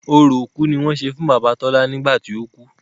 Orò òkú ni wọ́n ṣe fún bàbá Tọ́lá nígbà tí ó kú.